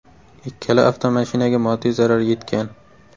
Ikkala avtomashinaga moddiy zarar yetgan.